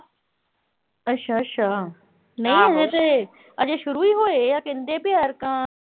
ਅੱਛ-ਅੱਛਾ, ਨਹੀਂ ਹਜੇ ਅਜੇ ਸ਼ੁਰੂ ਈ ਹੋਏ ਆ